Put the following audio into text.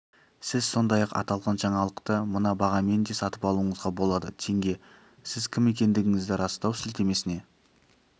сіз сондай-ақ аталған жаңалықты мына бағамен де сатып алуыңызға болады теңге сіз кім екендігіңізді растау сілтемесіне